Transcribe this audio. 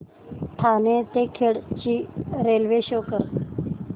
ठाणे ते खेड ची railway show करा